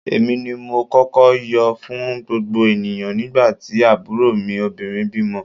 Èmi ni mo kọ́kọ́ yọ̀ fún gbogbo ènìyàn nígbà tí àbúrò mi obìnrin bímọ